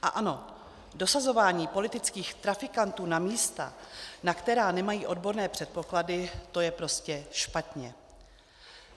A ano, dosazování politických trafikantů na místa, na která nemají odborné předpoklady, to je prostě špatně.